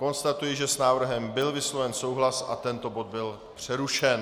Konstatuji, že s návrhem byl vysloven souhlas a tento bod byl přerušen.